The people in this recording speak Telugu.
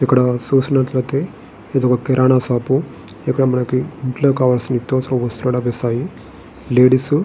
ఇక్కడ చూసినట్టుయితే ఇది ఒక కిరాణా షాప్ ఇక్కడ మనకు ఇంటిలో కావాలసిన నిత్యఅవసర వస్తువులు లభిస్తాయి. లేడీస్ --